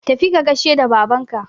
tafi ka gaishe da Babanka